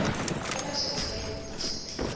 ge ba šetše ba dutše